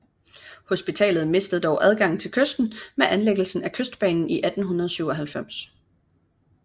Hospitalet mistede dog adgangen til kysten med anlæggelsen af Kystbanen 1897